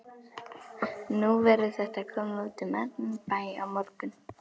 Nú verður þetta komið út um allan bæ á morgun.